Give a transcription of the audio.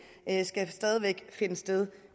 stadig væk finde sted